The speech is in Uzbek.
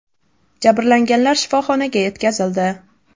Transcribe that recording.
Jabrlanganlar shifoxonaga yetkazildi.